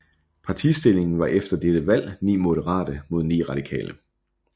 Partistillingen var efter dette valg 9 moderate mod 9 radikale